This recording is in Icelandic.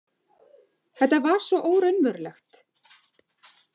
Þetta var svo óraunverulegt.